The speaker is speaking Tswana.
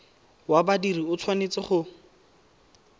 wa badiri o tshwanetse go